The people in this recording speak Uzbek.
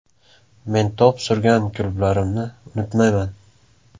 Men to‘p surgan klublarimni unutmayman.